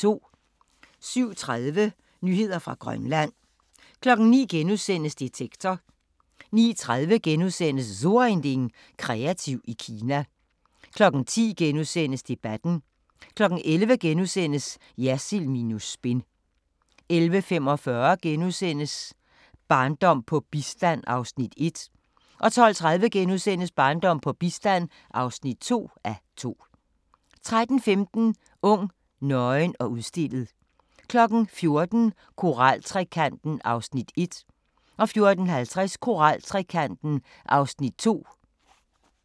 07:30: Nyheder fra Grønland 09:00: Detektor * 09:30: So ein Ding: Kreativ i Kina * 10:00: Debatten * 11:00: Jersild minus spin * 11:45: Barndom på bistand (1:2)* 12:30: Barndom på bistand (2:2)* 13:15: Ung, nøgen og udstillet 14:00: Koraltrekanten (1:3) 14:50: Koraltrekanten (2:3)